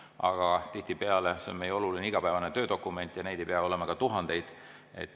Aga see on meie oluline igapäevane töödokument ja neid ei pea olema ka tuhandeid.